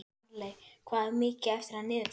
Stanley, hvað er mikið eftir af niðurteljaranum?